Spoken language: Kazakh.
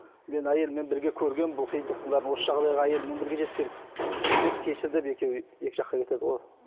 мен әйеліммен бірге көргенмін бұл қиындықтың бәрін осы жағдайға әйеліммен бірге жеткенмін деп кешір деп екеуі екі жаққа кетеді ғой